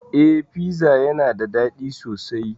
Eh piza yana dadi sosai